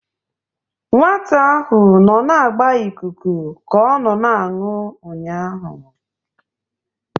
Nwata ahụ nọ na-agba ikuku ka ọ na-aṅụ ụnyahụ.